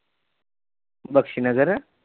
Bakshi Nagar